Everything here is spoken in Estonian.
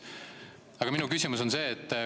Aga minu küsimus on see.